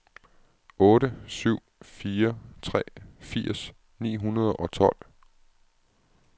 otte syv fire tre firs ni hundrede og tolv